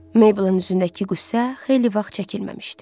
Mabelin üzündəki qüssə xeyli vaxt çəkilməmişdi.